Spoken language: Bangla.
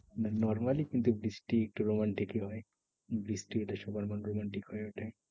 Normally শীতের বৃষ্টি একটু romantic ই হয়। বৃষ্টিতে সবার মন romantic হয়ে উঠে।